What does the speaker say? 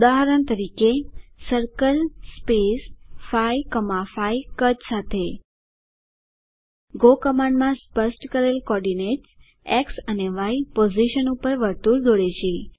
ઉદાહરણ તરીકે સર્કલ 5 5 કદ સાથે ગો કમાન્ડમાં સ્પષ્ટ કરેલ કોડીનેટ્સ એક્સ અને ય પોઝીશન પર વર્તુળ દોરે છે